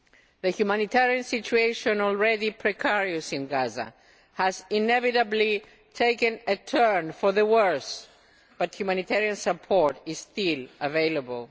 The humanitarian situation, already precarious in Gaza, has inevitably taken a turn for the worse, but humanitarian support is still available.